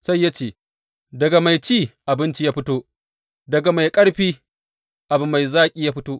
Sai ya ce, Daga mai ci, abinci ya fito; daga mai ƙarfi, abu mai zaki ya fito.